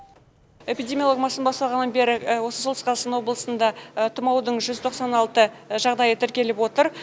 эпидемиологиялық маусым басталғаннан бері осы солтүстік қазақстан облысында тұмаудың жүз тоқсан алты жағдайы тіркеліп отыр